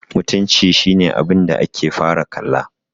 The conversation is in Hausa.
mutunci shi ne abinda ake fara kalla